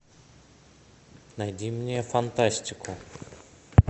найди мне фантастику